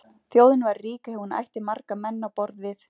Þjóðin væri rík ef hún ætti marga menn á borð við